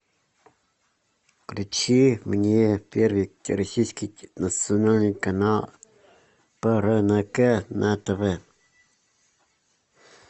включи мне первый российский национальный канал прнк на тв